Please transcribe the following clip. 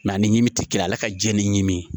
Nga ni ɲimi ti kelen ye ale ka jiɲɛ ni ɲimi